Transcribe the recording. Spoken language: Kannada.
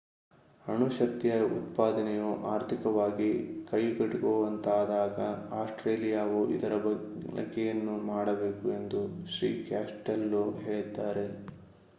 ಅಣು ಶಕ್ತಿಯ ಉತ್ಪಾದನೆಯು ಆರ್ಥಿಕವಾಗಿ ಕೈಗೆಟಕುವಂತಾದಾಗ ಆಸ್ಟ್ರೇಲಿಯಾವು ಇದರ ಬಳಕೆಯನ್ನು ಮಾಡಬೇಕು ಎಂದು ಶ್ರೀ ಕಾಸ್ಟೆಲ್ಲೋ ಹೇಳಿದ್ದಾರೆ